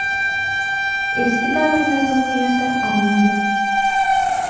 Eski davrlar ruhiyati arimagan.